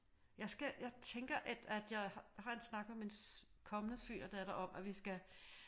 Jeg skal jeg tænker at jeg har en snak med min kommende svigerdatter om at vi skal